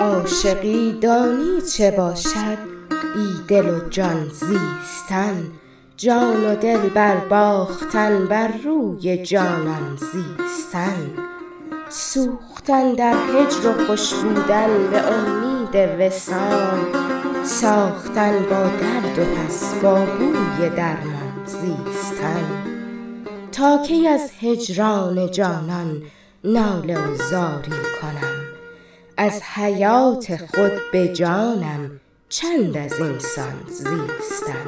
عاشقی دانی چه باشد بی دل و جان زیستن جان و دل بر باختن بر روی جانان زیستن سوختن در هجر و خوش بودن به امید وصال ساختن با درد و پس با بوی درمان زیستن تا کی از هجران جانان ناله و زاری کنم از حیات خود به جانم چند ازین سان زیستن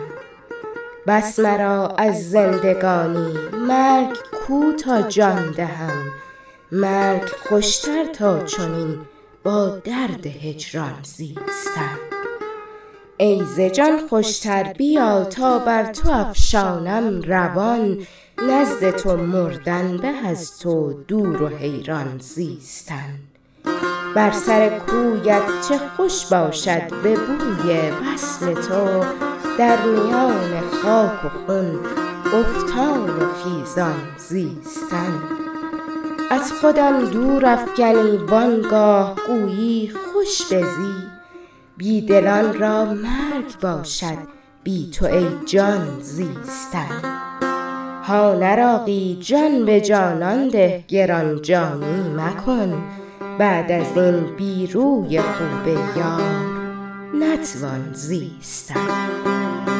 بس مرا از زندگانی مرگ کو تا جان دهم مرگ خوشتر تا چنین با درد هجران زیستن ای ز جان خوشتر بیا تا بر تو افشانم روان نزد تو مردن به از تو دور و حیران زیستن بر سر کویت چه خوش باشد به بوی وصل تو در میان خاک و خون افتان و خیزان زیستن از خودم دور افگنی وانگاه گویی خوش بزی بی دلان را مرگ باشد بی تو ای جان زیستن هان عراقی جان به جانان ده گران جانی مکن بعد از این بی روی خوب یار نتوان زیستن